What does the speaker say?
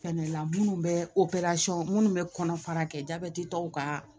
Fɛnɛ la minnu bɛ minnu bɛ kɔnɔ fara kɛ jabɛti tɔw ka